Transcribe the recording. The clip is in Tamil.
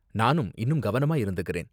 நானும் இன்னும் கவனமா இருந்துக்கறேன்.